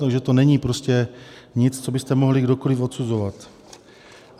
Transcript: Takže to není prostě nic, co byste mohli kdokoli odsuzovat.